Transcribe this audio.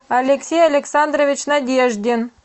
алексей александрович надеждин